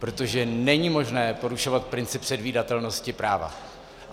Protože není možné porušovat princip předvídatelnosti práva.